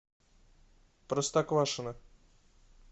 простоквашино